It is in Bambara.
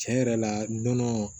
Tiɲɛ yɛrɛ la nɔnɔ